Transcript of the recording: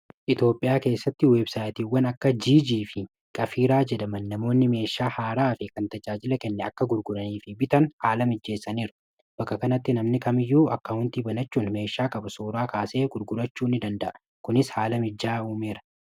Etoophiyaa keessatti websaayitiiwwan akka gg fi qafiiraa jedhaman namoonni meeshaa haaraa fi kan tajaajila kenne akka gurguranii fi bitan haala mijjeessaniiru bakka kanatti namni kamiyyuu akka huntii banachuun meeshaa qabuu suraa kaasee gurgurachuu danda'a kunis haala mijjaa uumeera.